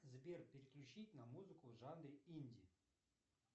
сбер переключить на музыку в жанре инди